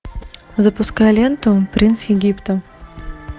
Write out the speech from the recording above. запускай ленту принц египта